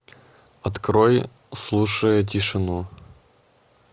открой слушая тишину